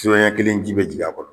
Sɔn ɲɛ kelen ji bɛ jigi a kɔnɔ.